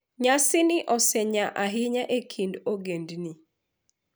Nyasini osenyaa ahinya e kind ogendini.